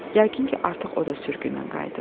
Yəqin ki, artıq o da sürgündən qayıdıb.